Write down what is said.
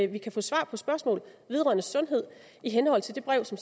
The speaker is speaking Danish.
vi kan få svar på spørgsmål vedrørende sundhed i henhold til det brev som